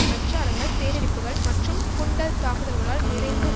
பிரச்சாரங்கள் சேறடிப்புகள் மற்றும் குண்டர் தாக்குதல்களால் நிறைந்து